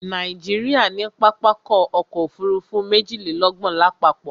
Nàìjíríà ní pápákọ̀ ọ̀kọ òfurufú méjìlélọ́gbọ̀n lápapọ̀